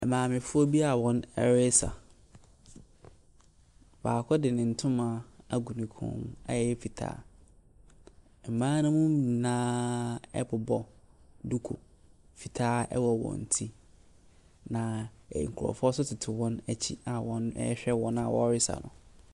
Maamefoɔ bo a wɔresa, baako de ne ntoma agu ne kɔn mu a ɛyɛ fitaa. Mmaa no mu nyinaaaaa bobɔ duku fitaa bobɔ wɔn ti, na nkurɔfoɔ nso tete wɔn akyi a ɔrehwɛ wɔn a wɔresa no.